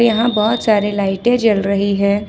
यहां बहोत सारे लाइटें जल रही है।